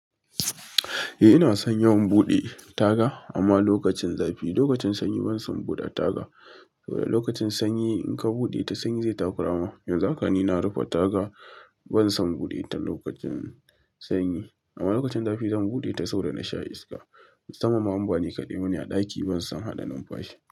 Eh ina son yawan buɗe taga amma lokacin zafi. Lokacin sanyi ban son buɗe taga. Saboda lokacin sanyi in ka buɗe ta sanyi zai tafi rana. Yanzu haka ni na rufe taga ban son buɗe ta lokacin sanyi amma lokacin zafi zan buɗe ta saboda na sha iska. Musamman ma in ba ni kaɗai bane a ɗaki ban son haɗa numfashi.